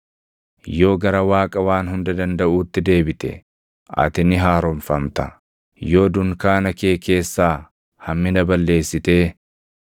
Yoo gara Waaqa Waan Hunda Dandaʼuutti deebite, // ati ni haaromfamta; yoo dunkaana kee keessaa hammina balleessitee